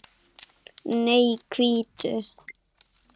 Nei, hvítu.